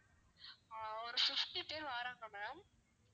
ஆஹ் ஒரு fifty பேரு வராங்க ma'am